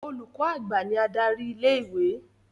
Olùkọ́ àgbà ní adarí ilé-ìwé.